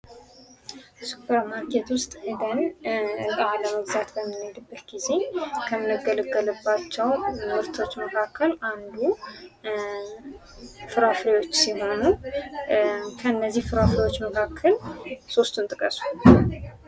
ሱፐር ማርኬት ውስጥ ሂደን እቃ ለመግዛት በምንሄድበት ጊዜ ከምንገለገልባቸው ምርቶች መካከል አንዱ ፍራፍሬዎች ሲሆኑ ከነዚህ ፍራፍሬዎች መካከል ሶስቱን ጥቀሱ።